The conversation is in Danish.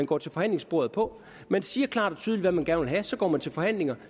går til forhandlingsbordet på man siger klart og tydeligt hvad man gerne vil have så går man til forhandlinger